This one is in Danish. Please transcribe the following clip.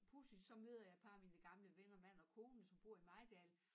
Pudsigt så møder jeg et par af mine gamle venner mand og kone som bor i Mejdal